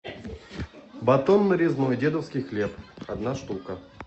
батон нарезной дедовский хлеб одна штука